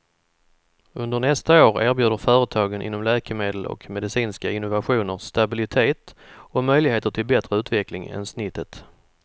Under nästa år erbjuder företagen inom läkemedel och medicinska innovationer stabilitet och möjligheter till bättre utveckling än snittet.